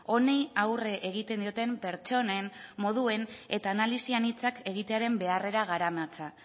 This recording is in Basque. honi aurre egiten dioten pertsonen moduen eta analisian hitzak egitearen beharrera garamatza